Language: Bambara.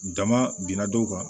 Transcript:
Dama binna dɔw kan